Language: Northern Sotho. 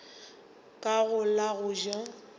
ka go la go ja